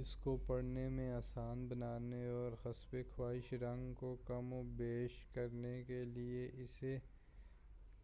اس کو پڑھنے میں آسان بنانے اور حسبِ خواہش رنگ کو کم و بیش کرنے کے لئے اسے